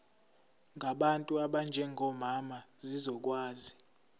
ngabantu abanjengomama zizokwazi